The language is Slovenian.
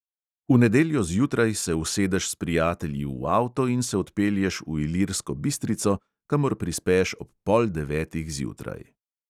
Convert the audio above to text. V nedeljo zjutraj se usedeš s prijatelji v avto in se odpelješ v ilirsko bistrico, kamor prispeš ob pol devetih zjutraj.